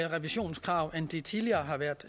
revisionskrav end de tidligere har været